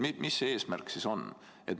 Aga mis see eesmärk ikkagi on?